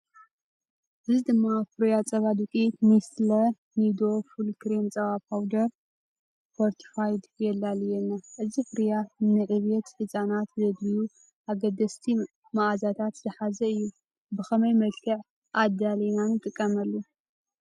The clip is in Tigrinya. እዚ ድማ ፍርያት ጸባ ዱቄት "ኔስትለ ኒዶ ፉል ክሬም ጸባ ፓውደር ፎርቲፋይድ" የላልየና። እዚ ፍርያት ንዕብየት ህጻናት ዘድልዩ ኣገደስቲ መኣዛታት ዝሓዘ እዩ። ብኸመይ መልክዕ ኣዳሊና ንጥቀመሉ?